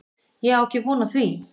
Ég á ekki von á því